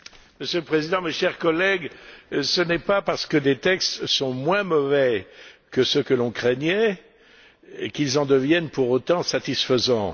Monsieur le Président, chers collègues, ce n'est pas parce que des textes sont moins mauvais que ce que l'on craignait qu'ils en deviennent pour autant satisfaisants.